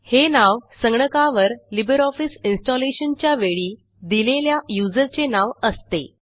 हे नाव संगणकावर लिबर ऑफिस इन्स्टॉलेशनच्या वेळी दिलेल्या यूझर चे नाव असते